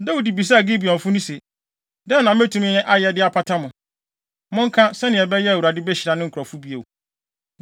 Dawid bisaa Gibeonfo no se, “Dɛn na metumi ayɛ de apata mo? Monka, sɛnea ɛbɛyɛ a Awurade behyira ne nkurɔfo bio.”